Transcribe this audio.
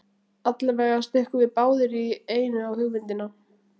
Allavega stukkum við báðir í einu á hugmyndina.